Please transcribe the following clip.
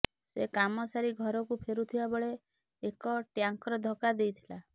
ସେ କାମ ସାରି ଘରକୁ ଫେରୁଥିବାବେଳେ ଏକ ଟ୍ୟାଙ୍କର ଧକ୍କା ଦେଇଥିଲା